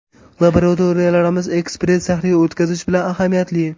Laboratoriyalarimiz ekspress tahlil o‘tkazishi bilan ahamiyatli.